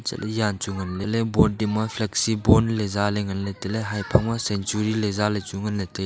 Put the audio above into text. Lia chu ngan board ding ma flexi bond ley za ngan ley tailey haphang ma century ley zaley chu ngan ley tailey.